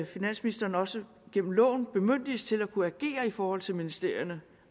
finansministeren også gennem loven bemyndiges til at kunne agere i forhold til ministerierne